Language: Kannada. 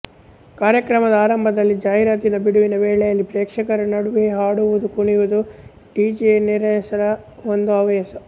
ಕಾರ್ಯಕ್ರಮದ ಆರಂಭದಲ್ಲಿ ಜಾಹೀರಾತಿನ ಬಿಡುವಿನ ವೇಳೆಯಲ್ಲಿ ಪ್ರೇಕ್ಷಕರ ನಡುವೆ ಹಾಡುವುದು ಕುಣಿಯುವುದು ಡಿಜೆನೆರೆಸಳ ಒಂದು ಹವ್ಯಾಸ